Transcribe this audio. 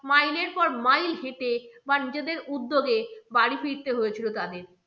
mile এর পর mile হেঁটে বা নিজেদের উদ্যোগে বাড়ি ফিরতে হয়েছিল তাদের।